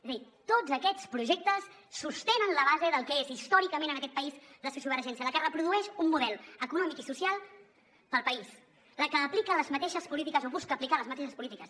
és a dir tots aquests projectes sostenen la base del que és històricament en aquest país la sociovergència la que reprodueix un model econòmic i social per al país la que aplica les mateixes polítiques o busca aplicar les mateixes polítiques